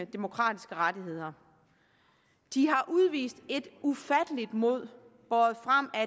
demokratiske rettigheder de har udvist et ufatteligt mod båret frem af